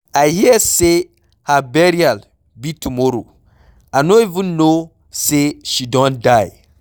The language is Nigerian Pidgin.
I hear say her burial be tomorrow. I no even know say she don die